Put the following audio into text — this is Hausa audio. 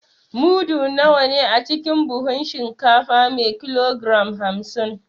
Mudu nawa ne a cikin buhun shinkafa me kilogram hamsin?